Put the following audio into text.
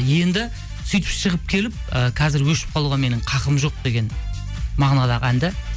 енді сөйтіп шығып келіп ы қазір өшіп қалуға менің хақым жоқ деген мағынадағы ән де